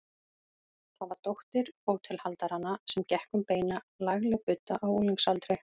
Það var dóttir hótelhaldaranna sem gekk um beina, lagleg budda á unglingsaldri.